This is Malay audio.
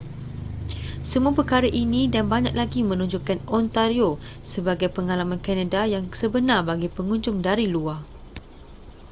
semua perkara ini dan banyak lagi menonjolkan ontario sebagai pengalaman kanada yang sebenar bagi pengunjung dari luar